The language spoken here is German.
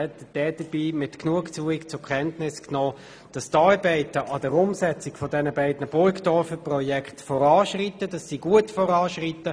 Dabei hat sie mit Genugtuung zur Kenntnis genommen, dass die Arbeiten zur Umsetzung der beiden Burgdorfer Projekte gut voranschreiten.